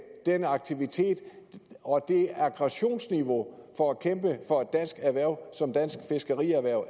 den aktivitet og det aggressionsniveau vi for at kæmpe for et dansk erhverv som dansk fiskerierhverv